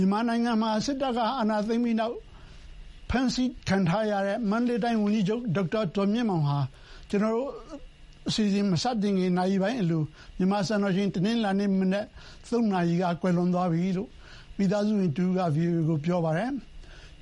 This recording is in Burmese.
ြန်မာနိုင်ငံမှာ စစ်တပ်က အာဏာသိမ်းပြီးနောက်ပိုင်း ဖမ်းဆီးခံထားရတဲ့ မန္တလေးတိုင်း ဝန်ကြီးချုပ် ဒေါက်တာဇော်မြင့်မောင်ဟာ ကျနော်တို့ အစီအစဉ်မစခင်နာရီပိုင်းအလို မြန်မာစံတော်ချိန် တနင်္လာနေ့မနက် (၃) နာရီက ကွယ်လွန်သွားပြီလို့ သူ့မိသားစုဝင်တဦးက VOA ကို ပြောပါတယ်။